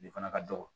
Ne fana ka dɔgɔ